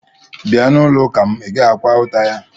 Bia n'ulo uka m, i gaghi-akwa ụta ya